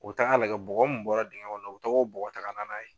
O be taga lagɛ bɔgɔ mun bɔra dingɛn kɔnɔ o be tog'o bɔgɔ taga na n'a ye